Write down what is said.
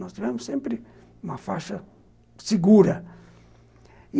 Nós tivemos sempre uma faixa segura.